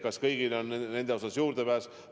Kas kõigil on nendele toetustele juurdepääs?